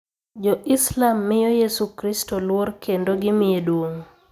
Jo-Islam miyo Yesu Kristo luor kendo gimiye duong'.